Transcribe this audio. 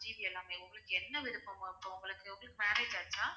எல்லாமே உங்களுக்கு என்ன விருப்பமோ இப்போ உங்களுக்கு உங்களுக்கு வந்து marriage ஆயிடுச்சா?